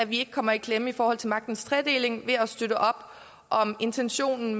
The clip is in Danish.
vi ikke kommer i klemme i forhold til magtens tredeling ved at støtte op om intentionen